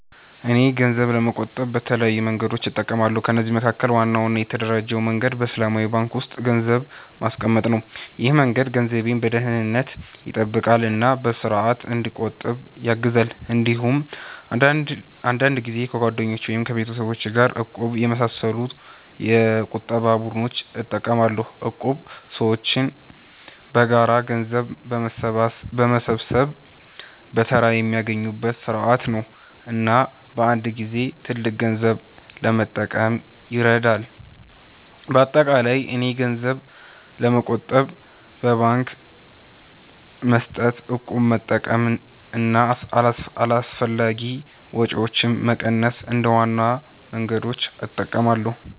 እኔ ገንዘብ ለመቆጠብ በተለያዩ መንገዶች እጠቀማለሁ። ከነዚህ መካከል ዋናው እና የተደራጀው መንገድ በእስላማዊ ባንክ ውስጥ ገንዘብ ማስቀመጥ ነው። ይህ መንገድ ገንዘቤን በደህንነት ይጠብቃል እና በስርዓት እንዲቆጠብ ያግዛል። እንዲሁም አንዳንድ ጊዜ ከጓደኞች ወይም ከቤተሰብ ጋር “እቁብ” በመሳሰሉ የቁጠባ ቡድኖች እጠቀማለሁ። እቁብ ሰዎች በጋራ ገንዘብ በመሰብሰብ በተራ የሚያገኙበት ስርዓት ነው እና በአንድ ጊዜ ትልቅ ገንዘብ ለመጠቀም ይረዳል። በአጠቃላይ እኔ ገንዘብ ለመቆጠብ በባንክ መስጠት፣ እቁብ መጠቀም እና አላስፈላጊ ወጪዎችን መቀነስ እንደ ዋና መንገዶች እጠቀማለሁ።